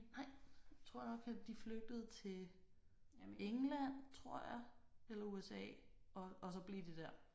Nej. Tror jeg nok at de flygtede til England tror jeg eller USA og og så blev de der